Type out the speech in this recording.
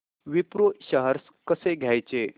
Wipro shares कसे घ्यायचे